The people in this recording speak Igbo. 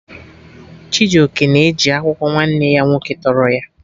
Chijoke na eji akwụkwọ nwanne ya nwoke tọrọ ya